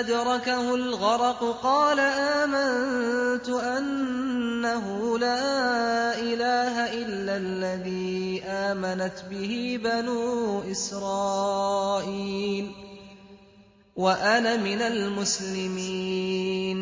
أَدْرَكَهُ الْغَرَقُ قَالَ آمَنتُ أَنَّهُ لَا إِلَٰهَ إِلَّا الَّذِي آمَنَتْ بِهِ بَنُو إِسْرَائِيلَ وَأَنَا مِنَ الْمُسْلِمِينَ